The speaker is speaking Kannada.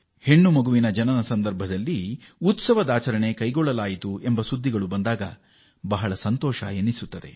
ಮಗಳು ಹುಟ್ಟಿದಾಗ ಸಂಭ್ರಮಾಚರಣೆ ಮಾಡಿದ ಸುದ್ದಿ ಕೇಳಿದಾಗ ನಮಗೆ ಸಂತಸ ಮತ್ತು ಹರ್ಷವಾಗುತ್ತದೆ